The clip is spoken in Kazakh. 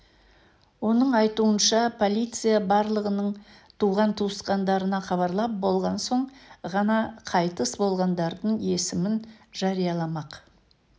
оның айтуынша полиция барлығының туған-туыстарына хабарлап болған соң ғана қайтыс болғандардың есімін жарияламақ